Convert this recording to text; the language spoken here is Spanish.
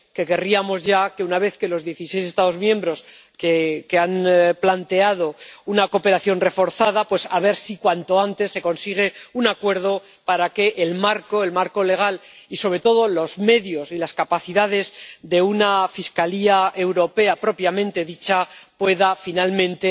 Que querríamos ya que, una vez que dieciséis Estados miembros han planteado una cooperación reforzada, a ver si cuanto antes se consigue un acuerdo para el marco, el marco legal, y sobre todo los medios y las capacidades de una Fiscalía Europea propiamente dicha, que pueda finalmente